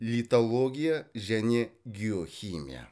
литология және геохимия